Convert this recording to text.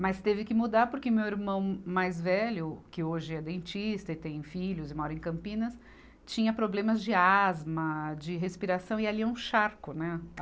Mas teve que mudar porque meu irmão mais velho, que hoje é dentista e tem filhos e mora em Campinas, tinha problemas de asma, de respiração, e ali é um charco, né?